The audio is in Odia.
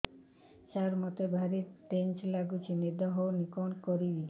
ସାର ମତେ ଭାରି ଟେନ୍ସନ୍ ଲାଗୁଚି ନିଦ ହଉନି କଣ କରିବି